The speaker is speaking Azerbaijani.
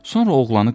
Sonra oğlanı qovur.